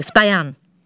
Vaqif, dayan.